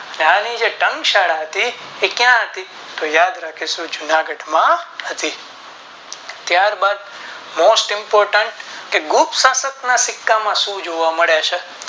ત્યારે જે ટંક શાળા હતી એ ક્યાં હતી તો યાદ રાખીશું જૂનાગઢ માં હતી ત્યાર બાદ Most Impotent તે ગુપ્ત શાસક ના સિક્કા માં શું જોવા મળે છે.